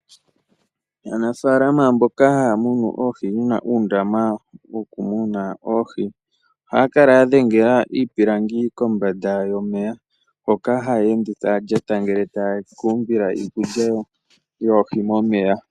Aanafaalama mboka ha ya munu oohi uuna uundama muna oohi ohaya kala ya dhengela iipilangi kombanda yomeya, hoka haya ende ta ya lyata ngele taya ka umbila iikulya yoohi momeya.